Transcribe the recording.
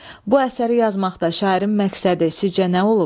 Bu əsəri yazmaqda şairin məqsədi sizcə nə olub?